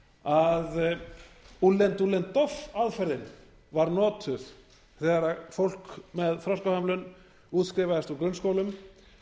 að úllen dúllen doff aðferðin var notuð þegar fólk með þroskahömlun útskrifaðist úr grunnskólum